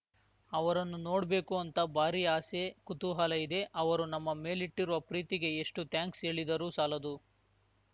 ಅವರನ್ನು ನೋಡ್ಬೇಕು ಅಂತ ಭಾರಿ ಆಸೆ ಕುತೂಹಲ ಇದೆ ಅವರು ನಮ್ಮ ಮೇಲಿಟ್ಟಿರುವ ಪ್ರೀತಿಗೆ ಎಷ್ಟುಥ್ಯಾಂಕ್ಸ್‌ ಹೇಳಿದರೂ ಸಾಲದು